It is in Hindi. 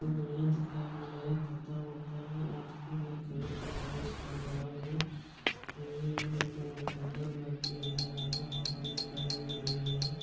बहुत बढ़िया दिखाई दे रहा है तोता उड़ता-सा आदमी भी एक्सरसाइज कर रहा हैं अजीब दिखने मे सुंदर लगती है हरा-भरा दिखाई दे रही हैँ।